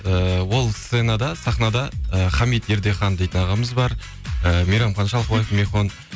ііі ол сценада сахнада і хамид ердехан дейтін ағамыз бар і мейрамхан шалқыбайев михон